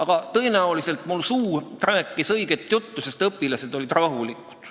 Ent tõenäoliselt mu suu rääkis õiget juttu, sest õpilased olid rahulikud.